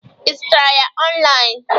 Ị zutere ya online?